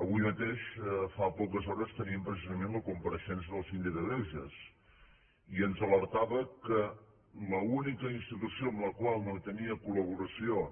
avui mateix fa poques hores teníem precisament la compareixença del síndic de greuges i ens alertava que l’única institució amb la qual no hi tenia col·laboració